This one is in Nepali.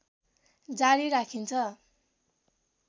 जारी राखिन्छ